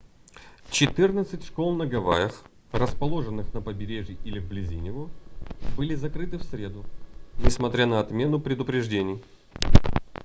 четырнадцать школ на гавайях расположенных на побережье или вблизи него были закрыты в среду несмотря на отмену предупреждений